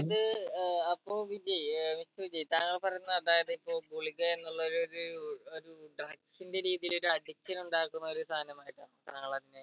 അതായത് ഏർ അപ്പൊ വിജയ് ഏർ mister വിജയ് താങ്കൾ പറയുന്ന അതായത് ഇപ്പൊ ഗുളിക എന്നുള്ളൊരു ഒര് ഒരു drugs ന്റെ രീതിൽ ഒര് addiction ഉണ്ടാക്കുന്ന ഒരു സാനമായിട്ടാണ് താങ്കൾ അതിനെ